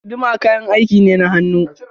Guduma kayan aiki ne na hannu.